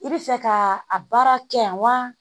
I bɛ fɛ ka a baara kɛ yan wa